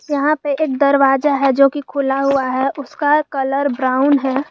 यहां पे एक दरवाजा है जोकि खुला हुआ है उसका कलर ब्राउन है।